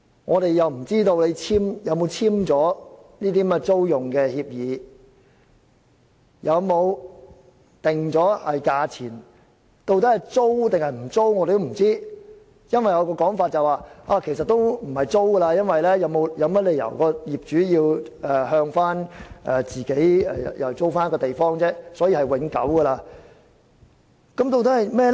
我們又不知道雙方有否簽訂租用協議、有否訂定價錢等，究竟是租還是不租，我們也不知道，因為有人說其實也不會透過租用的方式進行，因為業主沒有理由要向租戶租用地方，所以是永久的。